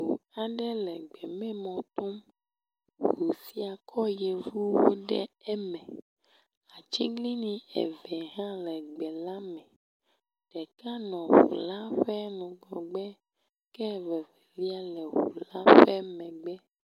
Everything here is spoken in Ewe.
Ŋu aɖe le gbememɔ tom. Ŋu sia kɔ yevuwo ɖe eme. Atiglinyi eve hã le gbe la me. Ɖeka nɔ ŋu la ƒe ŋgɔgbe ke vevelia le ŋu la ƒe megbe.